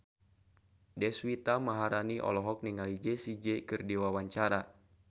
Deswita Maharani olohok ningali Jessie J keur diwawancara